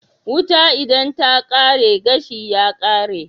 Wuta idan ta kare gashi ma ya kare